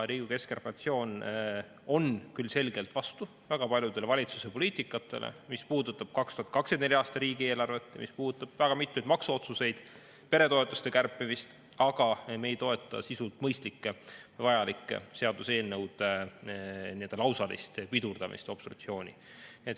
Keskerakonna fraktsioon on küll selgelt vastu väga paljudele valitsuse poliitikatele, mis puudutavad 2024. aasta riigieelarvet, mis puudutavad väga mitmeid maksuotsuseid ja peretoetuste kärpimist, aga me ei toeta sisult mõistlike ja vajalike seaduseelnõude lausalist pidurdamist obstruktsiooni abil.